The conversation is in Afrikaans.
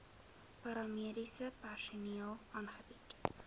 paramediese personeel aangebied